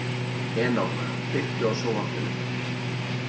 Enok, kveiktu á sjónvarpinu.